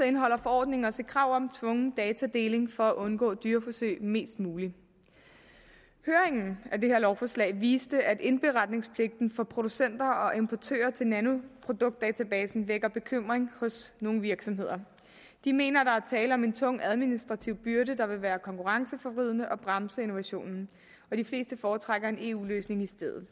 indeholder forordningen også et krav om tvungen datadeling for at undgå dyreforsøg mest muligt høringen af det her lovforslag viste at indberetningspligten for producenter og importører til nanoproduktdatabasen vækker bekymring hos nogle virksomheder de mener at der er tale om en tung administrativ byrde der vil være konkurrenceforvridende og bremse innovationen og de fleste foretrækker en eu løsning i stedet